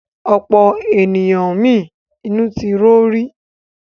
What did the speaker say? Ọ̀pọ̀ ènìyàn mi inú ti ro rí.